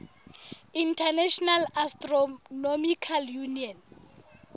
international astronomical union